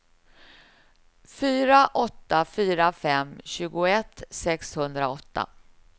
fyra åtta fyra fem tjugoett sexhundraåtta